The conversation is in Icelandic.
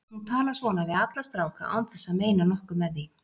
Hún talar svona við alla stráka án þess að meina nokkuð með því.